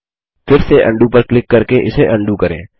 फिर से उंडो पर क्लिक करके इसे उंडो करें